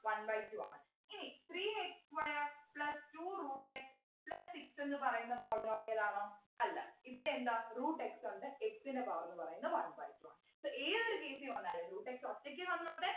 one by two ആണ് ഇനി three x square plus two root x plus six എന്ന് പറയുന്ന polynomial ആണോ അല്ല ഇവിടെ എന്താ root x ഉണ്ട് x ൻ്റെ power ന്നു പറയുന്നത് one by two ആണ് so ഏതൊരു രീതി വന്നാലും root x ഒറ്റക്ക് വന്നോട്ടെ